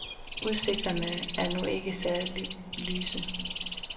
Udsigterne er nu ikke særligt lyse.